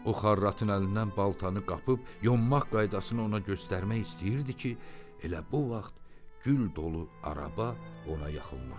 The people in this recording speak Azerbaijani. O xarratın əlindən baltanı qapıb yonmaq qaydasını ona göstərmək istəyirdi ki, elə bu vaxt gül dolu araba ona yaxınlaşdı.